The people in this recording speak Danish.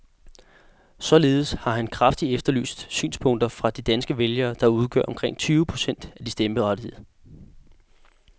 Således har han kraftigt efterlyst synspunkter fra de danske vælgere, der udgør omkring tyve procent af de stemmeberettigede.